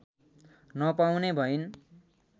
नपाउने भइन्।